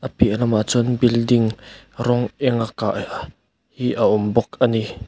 piah lamah chuan building rawng eng a kah hi a awm bawk a ni.